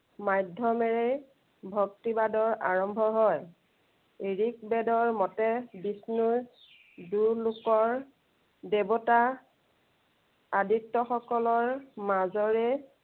মাধ্য়মেৰেই ভক্তিবাদৰ আৰম্ভ হয়। ঋক বেদৰ মতে বিষ্ণুৰ দূৰ লোকৰ দেৱতা আদিত্য় সকলৰ মাজৰে